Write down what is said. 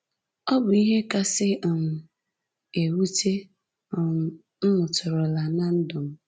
Ọ bụ ihe kasị um ewute um m nụtụrụla ná ndụ m